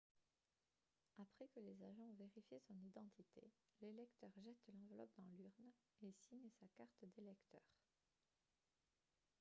après que les agents ont vérifié son identité l'électeur jette l'enveloppe dans l'urne et signe sa carte d'électeur